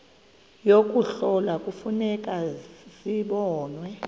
yokuhlola kufuneka zibonwe